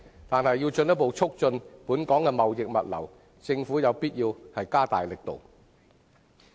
然而，如要進一步促進本港的貿易物流業，政府有必要加大力度。